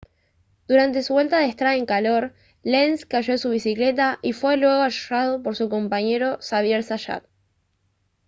durante su vuelta de estrada en calor lenz cayó de su bicicleta y fue luego arrollado por su compañero xavier zayat